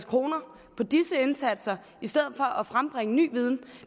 kroner på disse indsatser i stedet for på at frembringe ny viden